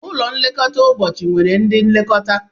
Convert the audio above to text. Ụlọ nlekọta ụbọchị nwere ndị nlekọta